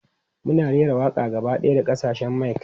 Mun raira waƙa gaba ɗaya da kasashen mic.